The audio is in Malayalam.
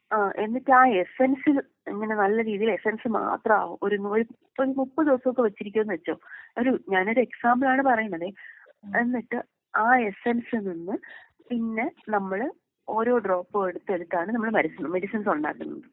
ആഹ് എന്നിട്ട് ആ എസെൻസ് അങ്ങനെ നല്ല രീതിയില് എസെൻസ് മാത്രമാവും ഒരു നോട്ട്‌ ക്ലിയർ മുപ്പത് ദിവസൊക്കെ വെച്ചിരിക്കുമെന്ന് വെച്ചോ. ഒരു ഞാനൊരു എക്സാമ്പിളാണ് പറയുന്നത്. എന്നിട്ട് ആ എസെൻസിൽ നിന്ന് പിന്നെ നമ്മള് ഓരോ ഡ്രോപ്പും എടുത്ത് എടുത്താണ് നമ്മള് മരുന്നുകൾ മെഡിസിൻസ് ഉണ്ടാക്കുന്നത്.